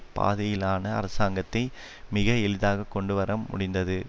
பாதையிலான அரசாங்கத்தை மிக எளிதாக கொண்டு வர முடிந்தது